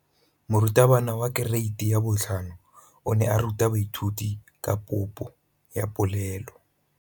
Moratabana wa kereiti ya 5 o ne a ruta baithuti ka popô ya polelô.